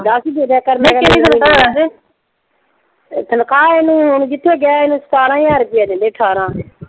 ਦਸ ਈ ਦੇ ਦਿਆ ਕਰ ਮੈਂ ਕਿਹਾ। ਨਈਂ ਕਿੰਨੀ ਤਨਖ਼ਾਹ ਏ? ਤਨਖ਼ਾਹ ਇਹਨੂੰ ਹੁਣ ਕਿੱਥੇ ਗਿਆ ਇਹਨੂੰ ਸਤਾਰਾਂ ਹਜ਼ਾਰ ਰੁਪਇਆ ਦਿੰਦੇ ਅਠਾਰਾਂ।